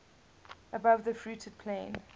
above the fruited plain